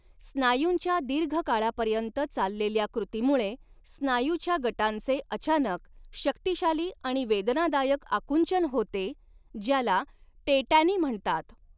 स्नायूंच्या दीर्घकाळापर्यंत चाललेल्या कृतीमुळे स्नायूच्या गटांचे अचानक, शक्तिशाली आणि वेदनादायक आकुंचन होते, ज्याला टेटॅनी म्हणतात.